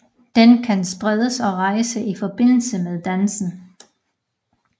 Den kan spredes og rejses i forbindelse med dansen